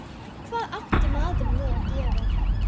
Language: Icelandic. Hvað átti maður nú að gera?